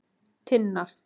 Tinna